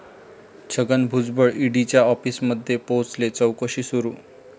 छगन भुजबळ ईडीच्या आॅफिसमध्ये पोहचले, चाैकशी सुरू